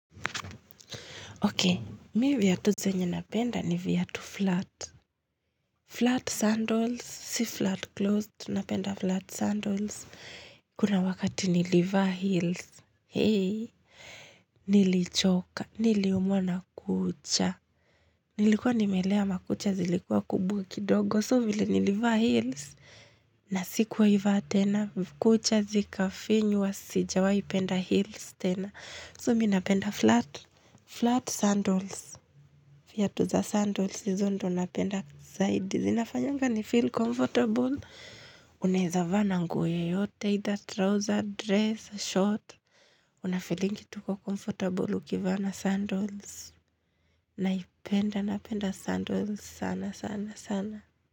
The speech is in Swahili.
Okay, mimi viatu zenye napenda ni viatu flat. Flat sandals, si flat closed, napenda flat sandals. Kuna wakati nilivaa heels. Hei, nilichoka, niliumwa na kucha. Nilikuwa nimelea makucha zilikua kubwa kidogo, so vile nilivaa heels. Na sikuwahi vaa tena, kucha zikafinywa sijawahi penda heels tena. So mimi napenda flat sandals. Viatu za sandals hizo ndo napenda zaidi. Zinafanyanga ni feel comfortable. Unaweza vaa na nguo yoyote either trouser, dress, short. Unafeelingi tu uko comfortable ukivaa sandals. Naipenda napenda sandals sana sana sana.